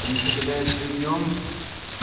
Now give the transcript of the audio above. потому что когда я сплю днём